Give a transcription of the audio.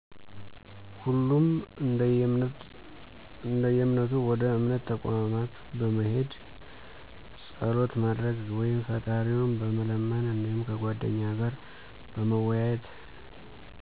ሁሉም እደየእምነቱ ወደ እምነት ተቋማት በመሄድ ፀሎት በማድረግ ወይም ፍጣሪውን በመለመን እዲሁም ከጓደኛ ጋር በመወያየት።